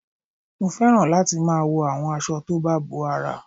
Mo fẹ́ràn láti máa wo àwọn aṣọ tó bá bo ara